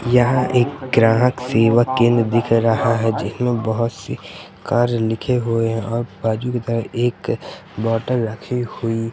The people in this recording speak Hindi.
यहां एक ग्राहक सेवा केंद्र दिख रहा है जिसमें बहुत से कार्य लिखे हुए है और बाजू की तहर एक बॉटल रखी हुई--